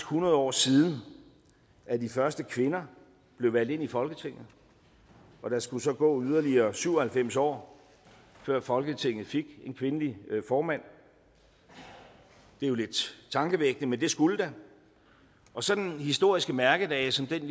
hundrede år siden at de første kvinder blev valgt ind i folketinget og der skulle så gå yderligere syv og halvfems år før folketinget fik en kvindelig formand det er jo lidt tankevækkende men det skulle der og sådan nogle historiske mærkedage som den